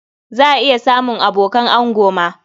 Za a iya samun abokan ango ma.